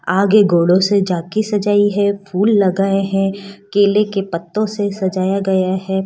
आगे घोड़ो से जाकी सजाई है फूल लगाये हैं केले के पत्तों से सजाया गया है।